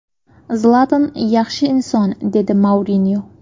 Zlatan – yaxshi inson”, – dedi Mourinyo.